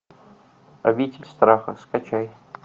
обитель страха скачай